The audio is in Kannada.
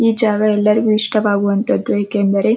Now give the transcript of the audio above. ಈ ಜಾಗ ಎಲ್ಲರಿಗೂ ಇಷ್ಟವಾದಂಥದು.